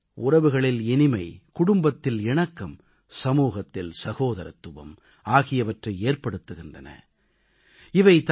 பண்டிகைகள் உறவுகளில் இனிமை குடும்பத்தில் இணக்கம் சமூகத்தில் சகோதரத்துவம் ஆகியவற்றை ஏற்படுத்துகின்றன